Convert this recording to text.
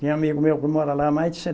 Tem amigo meu que mora lá há mais de se